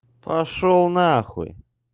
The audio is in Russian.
пошёл нахуй